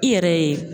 I yɛrɛ ye